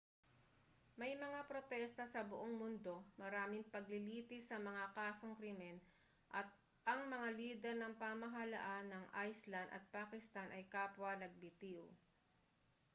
may mga protesta sa buong mundo maraming paglilitis sa mga kasong krimen at ang mga lider ng pamahalaan ng iceland at pakistan ay kapwa nagbitiw